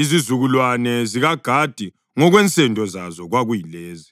Izizukulwane zikaGadi ngokwensendo zazo kwakuyilezi: